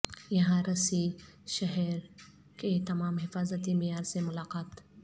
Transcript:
یہاں رسی شہر کے تمام حفاظتی معیار سے ملاقات